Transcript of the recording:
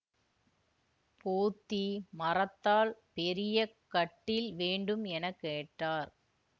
போத்தி மரத்தால் பெரிய கட்டில் வேண்டும் என கேட்டார்